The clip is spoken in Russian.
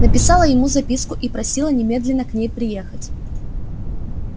написала ему записку и просила немедленно к ней приехать